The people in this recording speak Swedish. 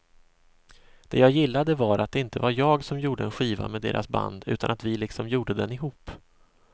Det jag gillade var att det inte var jag som gjorde en skiva med deras band utan att vi liksom gjorde den ihop.